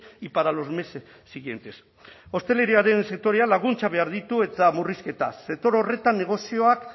y para los meses siguientes ostalaritzaren sektorea laguntza behar ditu eta murrizketaz sektore horretan negozioak